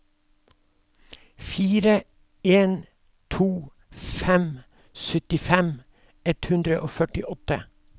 fire en to fem syttifem ett hundre og førtiåtte